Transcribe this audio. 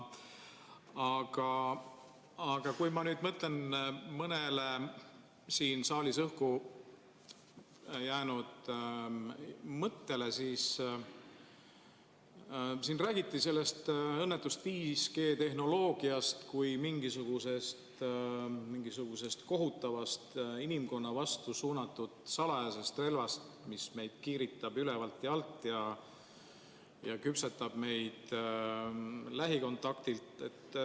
Aga kui ma nüüd mõtlen mõnele siin saalis õhku jäänud mõttele – siin räägiti sellest õnnetust 5G-tehnoloogiast kui mingisugusest kohutavast inimkonna vastu suunatud salajasest relvast, mis meid kiiritab ülevalt ja alt ning küpsetab meid lähikontaktilt.